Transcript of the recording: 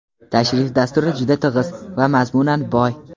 tashrif dasturi juda tig‘iz va mazmunan boy.